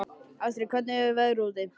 Astrid, hvernig er veðrið úti?